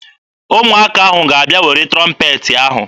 Ụmụaka ahụ ga-abịa were trọmpeetị ahụ.